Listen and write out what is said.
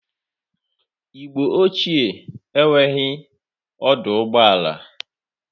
Igbo ochie enwereghi ọdụ ụgbọ ala.